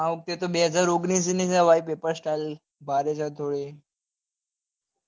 આ વખતે તો બેહજાર ઓગણીસ ની છે ભાઈ પેપર style બારે જતો રે